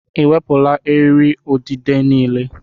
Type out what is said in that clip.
Ị ewepụla eriri udide niile?